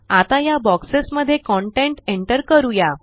आता या बोक्सेस मध्ये कंटेंट एंटर करूया